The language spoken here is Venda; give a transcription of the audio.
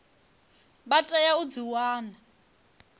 vha tea u dzi wana